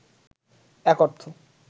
এক অর্থ